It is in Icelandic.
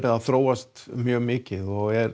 að þróast mjög mikið og er